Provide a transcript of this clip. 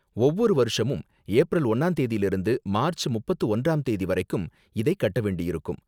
ஒவ்வொரு வருஷமும் ஏப்ரல் ஒன்னாம் தேதில இருந்து மார்ச் முப்பத்து ஒன்றாம் தேதி வரைக்கும் இதை கட்ட வேண்டியிருக்கும்.